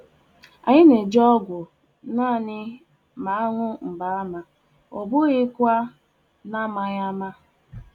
Anyị anaghị eme ihe n'isi, ọ bụ naanị mgbe odoro anya um na oria